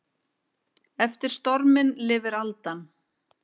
Eftir storminn lifir aldan.